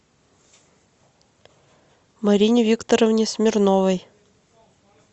марине викторовне смирновой